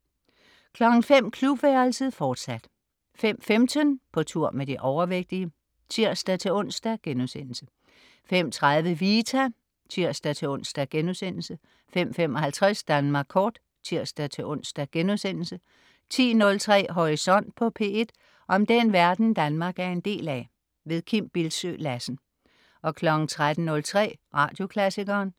05.00 Klubværelset, fortsat 05.15 På tur med de overvægtige (tirs-ons)* 05.30 Vita (tirs-ons)* 05.55 Danmark Kort (tirs-ons)* 10.03 Horisont på P1. Om den verden Danmark er en del af. Kim Bildsøe Lassen 13.03 Radioklassikeren